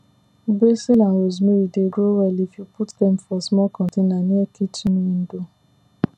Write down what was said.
basil and rosemary dey grow well if you put dem for small container near kitchen window